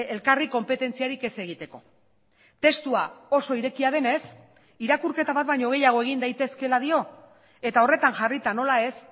elkarri konpetentziarik ez egiteko testua oso irekia denez irakurketa bat baino gehiago egin daitezkeela dio eta horretan jarrita nola ez